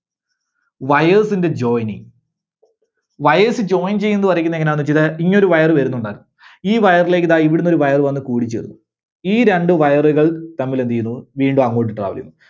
Wires ന്റെ joining. Wires join ചെയ്യുന്നത് വരക്കുന്നത് എങ്ങനാന്ന് ഈ ഒരു Wire വരുന്നുണ്ട് ഈ Wire ലേക്ക് ദാ ഇവിടുന്നൊരു Wire വന്ന് കൂടിച്ചേരുന്നു. ഈ രണ്ട് Wire കൾ തമ്മിൽ എന്ത് ചെയ്യുന്നു? വീണ്ടും അങ്ങോട്ട് travel ചെയ്യുന്നു.